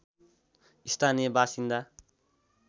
स्थानीय बासिन्दा